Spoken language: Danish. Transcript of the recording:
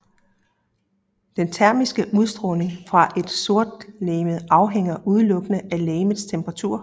Den termiske udstråling fra et sortlegeme afhænger udelukkende af legemets temperatur